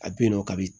A bɛ yen nɔ kabi